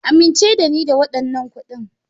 Amince da ni da waɗannan kuɗin.